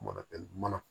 Mana kɛ mana